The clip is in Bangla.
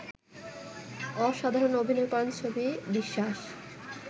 অসাধারণ অভিনয় করেন ছবি বিশ্বাস